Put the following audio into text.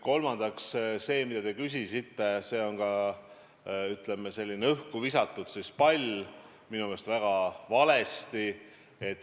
Kolmandaks, see, mida te küsisite, on ka, ütleme, selline valesti õhku visatud pall.